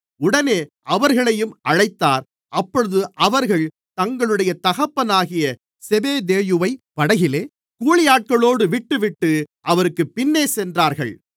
உடனே அவர்களையும் அழைத்தார் அப்பொழுது அவர்கள் தங்களுடைய தகப்பனாகிய செபெதேயுவை படகிலே கூலியாட்களோடு விட்டுவிட்டு அவருக்குப் பின்னே சென்றார்கள்